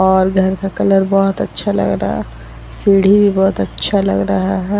और घर का कलर बहुत अच्छा लग रहा है सीढ़ी भी बहुत अच्छा लग रहा है ।